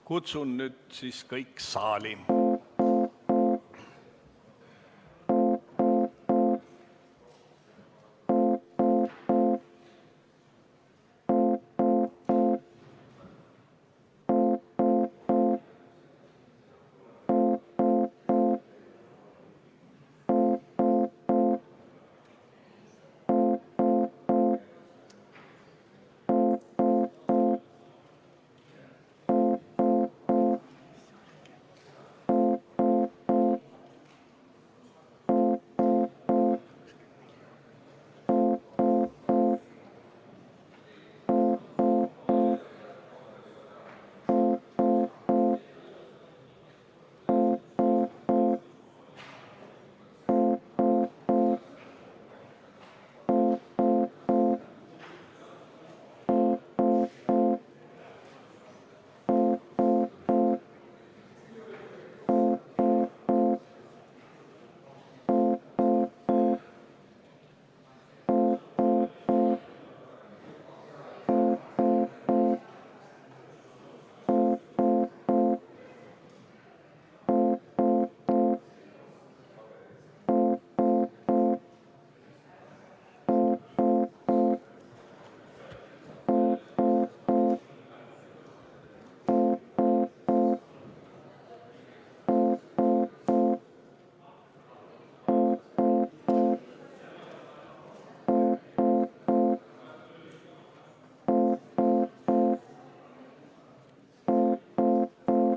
Kutsun nüüd kõik saali.